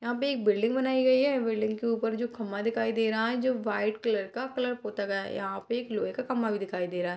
यहाँ पे एक बिल्डिंग बनाई गयी है बिल्डिंग के ऊपर जो खंबा दिखाई दे रहा है जो वाइट कलर का कलर होता गया है। यहाँ पे एक लोहे का खम्भा भी दिखाई दे रहा है।